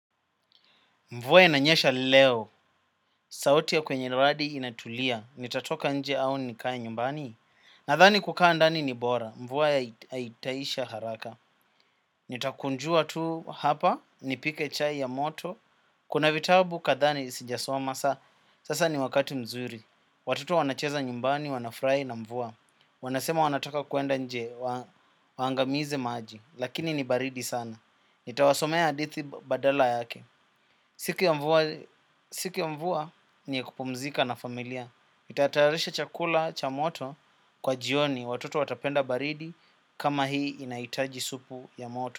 Mvua inanyesha leo, sauti ya kwenye radi inatulia, nitatoka nje au nikae nyumbani. Nathani kukaa ndani ni bora, mvua ya itaisha haraka. Nitakunjua tu hapa, nipike chai ya moto, kuna vitabu kathaa ni sinjasoma saa. Sasa ni wakati mzuri, watoto wanacheza nyumbani, wanafrai na mvua. Wanasema wanataka kuenda nje, waangamize maji, lakini ni baridi sana. Nitawasomea adithi badala yake. Siku ya mvua ni ya kupumzika na familia. Ntatarisha chakula cha moto kwa jioni watoto watapenda baridi kama hii inaitaji supu ya moto.